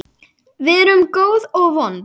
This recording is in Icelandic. Við erum góð og vond.